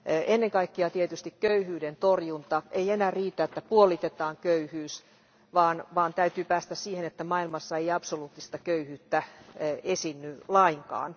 Ennen kaikkea tietysti köyhyyden torjunta ei enää riitä, että puolitetaan köyhyys, vaan täytyy päästä siihen, että maailmassa ei absoluuttista köyhyyttä esiinny lainkaan.